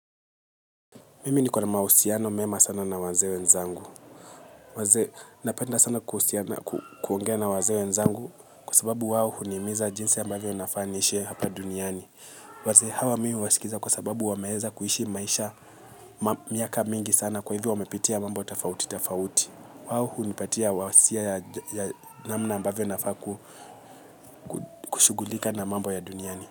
Mimi niko na mahusiano mema sana na wazee wenzangu. Napenda sana kuhusiana, kuongea na wazee wenzangu. Kwa sababu wao hunimiza jinsi ambavyo nafaa niishi hapa duniani. Wazee hawa mi huwasikiza kwa sababu wameeza kuishi maisha miaka mingi sana kwa hivyo wamepitia mambo tofauti tofauti. Wao hunipatia wasia ya namna ambavyo nafaa kushugulika na mambo ya duniani.